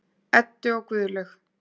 Eddu og Guðlaug.